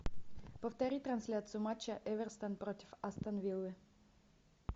повтори трансляцию матча эвертон против астон виллы